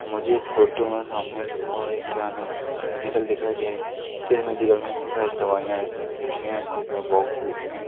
मुझे इस फोटो मे सामने की ओर एक किराने मेडिकल दिखाई दे जिसमे के साथ दवाइयाँ रखी है शिशियां क बहुत शिशियां--